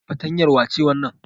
Fatrtanyar wace wannan?